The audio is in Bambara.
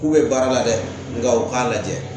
K'u bɛ baara la dɛ nka u k'a lajɛ